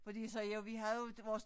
Fordi så jo vi har jo vores